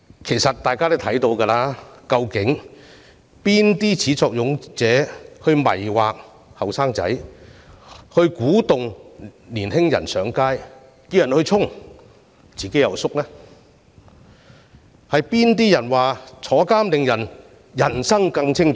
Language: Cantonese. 其實大家都知道誰是始作俑者，他們迷惑年輕人，鼓動年輕人上街和衝擊，但自己卻退縮於後方，是誰說坐牢令人生更精彩？